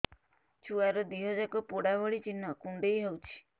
ଛୁଆର ଦିହ ଯାକ ପୋଡା ଭଳି ଚି଼ହ୍ନ କୁଣ୍ଡେଇ ହଉଛି